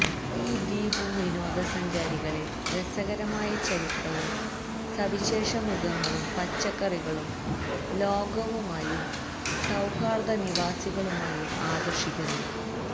ഈ ദ്വീപ് വിനോദ സഞ്ചാരികളെ രസകരമായ ചരിത്രവും സവിശേഷ മൃഗങ്ങളും പച്ചക്കറികളും ലോകവുമായും സൌഹാർദ്ദ നിവാസികളുമായും ആകർഷിക്കുന്നു